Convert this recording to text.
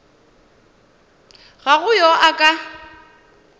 ga go yo a ka